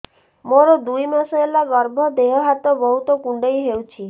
ମୋର ଦୁଇ ମାସ ହେଲା ଗର୍ଭ ଦେହ ହାତ ବହୁତ କୁଣ୍ଡାଇ ହଉଚି